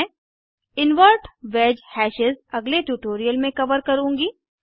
मैं invert wedge hashes अगले tutorial में कवर करुँगी